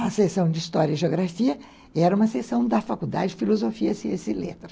A sessão de História e Geografia era uma sessão da Faculdade de Filosofia, Ciência e Letras.